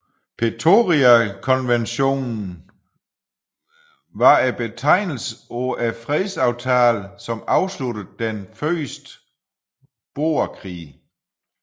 Pretoriakonventionen var betegnelsen for fredsaftalen som afsluttede den første boerkrig